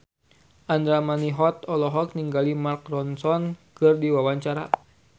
Andra Manihot olohok ningali Mark Ronson keur diwawancara